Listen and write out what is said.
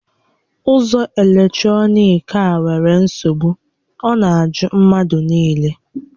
Ụzọ eletrọnịkị a nwèrè nsogbu, ọ na ajụ mmadụ niile